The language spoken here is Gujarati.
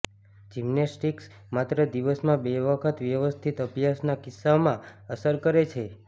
જિમ્નેસ્ટિક્સ માત્ર દિવસમાં બે વખત વ્યવસ્થિત અભ્યાસના કિસ્સામાં અસર કરે છે